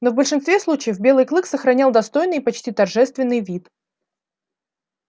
но в большинстве случаев белый клык сохранял достойный и почти торжественный вид